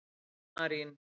Marín